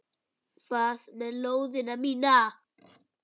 Hvað með lóðina mína!